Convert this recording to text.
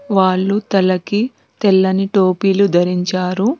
వాళ్లు తలకి తెల్లని టోపీలు ధరించారు.